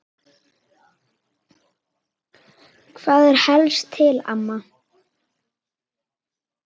Hvað er helst til ama?